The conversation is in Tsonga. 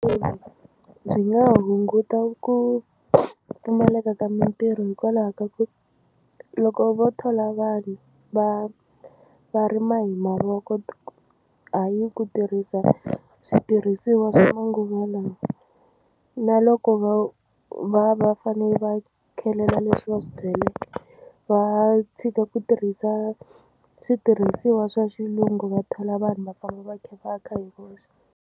Byi nga hunguta ku pfumaleka ka mitirho hikwalaho ka ku loko vo thola vanhu va va rima hi mavoko hayi ku tirhisa switirhisiwa swa manguva lawa na loko va va fanele va khelela leswi va swi byaleke va tshika ku tirhisa switirhisiwa swa xilungu va thola vanhu va fanele va tlhe va kha hi voxe.